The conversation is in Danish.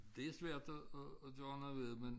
Det svært at at gøre noget ved men